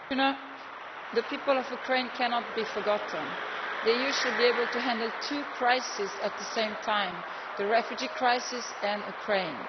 Madam President, the people of Ukraine cannot be forgotten. The EU should be able to handle two crises at the same time the refugee crisis and Ukraine.